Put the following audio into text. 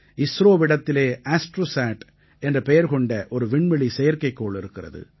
இஸ்ரோவிடத்திலே Astrosat என்ற பெயர் கொண்ட ஒரு விண்வெளி செயற்கைக்கோள் இருக்கிறது